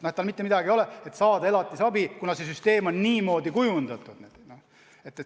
Isal mitte midagi ei ole, aga tahetakse elatisabi, kuna see süsteem on niimoodi kujundatud.